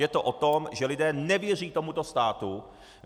Je to o tom, že lidé nevěří tomuto státu.